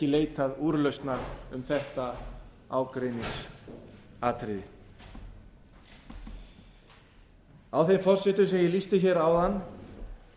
leitað úrlausnar um þetta ágreiningsatriði á þeim forsendum sem ég lýsti hér áðan